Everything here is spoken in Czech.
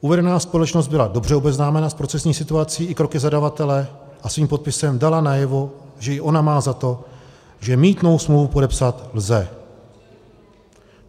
Uvedená společnost byla dobře obeznámena s procesní situací i kroky zadavatele a svým podpisem dala najevo, že i ona má za to, že mýtnou smlouvu podepsat lze.